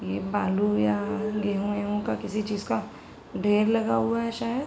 ये बालू या गेहू एहू का किसी चीज़ का ढेर लगा हुआ है शायद।